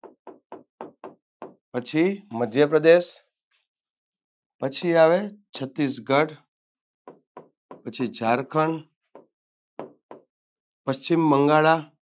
પછી મધ્યપ્રદેશ પછી આવે છત્તીશગઢ પછી ઝારખંડ પશ્ચિમબંગાળા